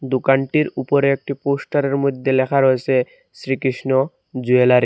দোকানটির উপরে একটি পোস্টারের মইধ্যে লেখা রয়েসে শ্রীকৃষ্ণ জুয়েলারি ।